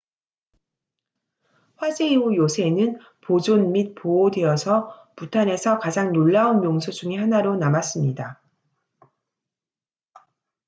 화재 이후 요새는 보존 및 보호되어서 부탄에서 가장 놀라운 명소 중의 하나로 남았습니다